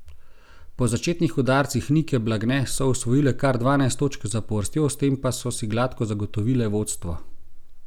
Po začetnih udarcih Nike Blagne so osvojile kar dvanajst točk zapovrstjo, s tem pa so si gladko zagotovile vodstvo.